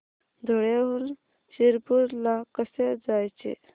धुळ्याहून शिरपूर ला कसे जायचे